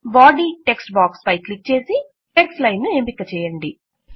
body text box పై click చేసి text line ను ఎంపిక చేయండి